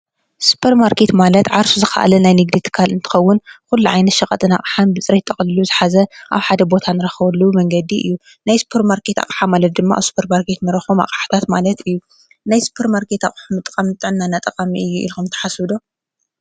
ሱፐርማርኬት ማለት ዓርሱ ዝኽኣለ ናይ ንግዲ ትካል እንትኸዉን ኩሉ ዓይነት ሽቀጥን ኣቅሓን ብፅሬት ጠቅሊሉ ዝሓዘ ኣብ ሓደ ቦታ ንረኽበሉ መንገዲ እዩ። ናይ ሱፐርማርኬት ኣቕሓ ማለት ድማ ኣብ ሱፐርማርኬት ንረክቦ ኣቕሓታት ማለት እዮ። ናይ ሱፐርማርኬት እቕሓ ምጥቃም ንጥዕናና ጠቃሚ እዩ ኢልኩም ትሓስቡ ዶ?